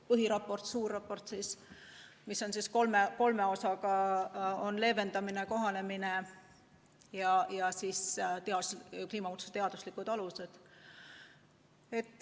Põhiraport, suur raport, koosneb kolmest osast: need on leevendamine, kohanemine ja kliimamuutuste teaduslikud alused.